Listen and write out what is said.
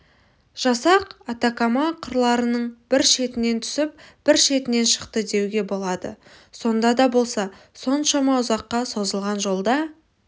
жасақ атакама қырқаларының бір шетінен түсіп бір шетінен шықты деуге болады сонда да болса соншама ұзаққа созылған жолда